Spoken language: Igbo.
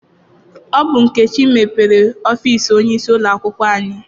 Ọ bụ Nkechi mepere ọfịịsi onyeisi ụlọakwụkwọ anyị.